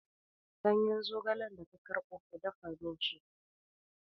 Ganyen zogalen da ka karɓo, ka dafa min shi!